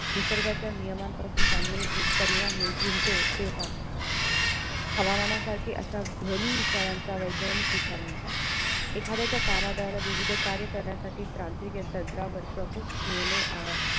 निसर्गाच्या नियमांपासून चांगले परिणाम विणतो तेव्हा हवामानासारखे अश्या ध्वनी विचारणाचा वैज्ञानिक विचार म्हणतात एखाद्याच्या कामाद्वारे विविध कार्य करण्यासाठी तांत्रिक या तंत्रावर प्रमुख निर्णय